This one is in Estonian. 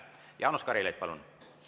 Jaanus Karilaid, palun!